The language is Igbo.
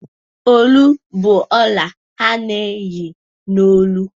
Olu bụ ọla a na-eyi n'olu.